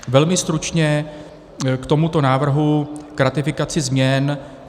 Velmi stručně k tomuto návrhu, k ratifikaci změn.